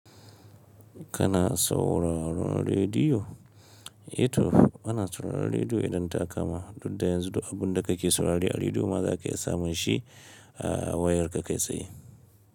Kana sauraron rediyo? Ito ana sauraron rediyo idan ta kama. Dudda yanzu duk bun da ka ke saurare a rediyo ma za ka iya samun shi a wayar ka kai tsaye.